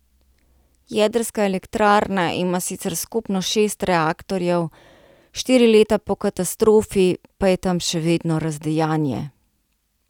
Jedrska elektrarna ima sicer skupno šest reaktorjev, štiri leta po katastrofi pa je tam še vedno razdejanje.